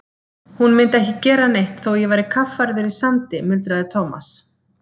Hún myndi ekki gera neitt þótt ég væri kaffærður í sandi muldraði Thomas.